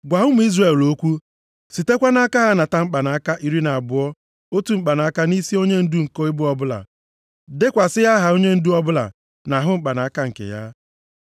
“Gwa ụmụ Izrel okwu, sitekwa nʼaka ha nata mkpanaka iri na abụọ otu mkpanaka nʼisi onyendu nke ebo ọbụla. Dekwasị aha onyendu ọbụla nʼahụ mkpanaka nke ya.